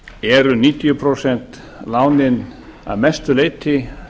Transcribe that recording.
eru níutíu prósent lánin að mestu leyti